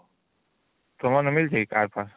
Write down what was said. ତମର ମିଳିଛି କି car far